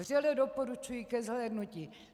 Vřele doporučuji ke zhlédnutí.